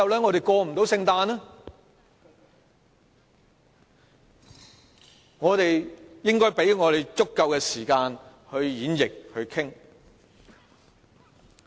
我們應該給自己足夠時間演繹和討論。